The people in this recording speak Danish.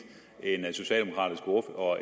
og